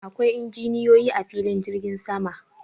Akwai injiniyoyi a filin jirgin sama.